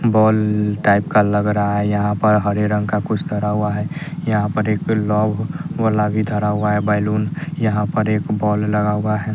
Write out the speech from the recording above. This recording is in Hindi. बॉल टाइप का लग रहा है यहां पर हरे रंग का कुछ धरा हुआ है यहां पर एक लोग गुलाबी धारा हुआ है बैलून यहां पर एक बॉल लगा हुआ है।